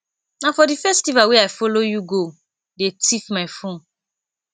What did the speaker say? na for the festival wey i follow you go dey thief my phone